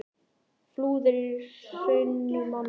Flúðir er í Hrunamannahreppi.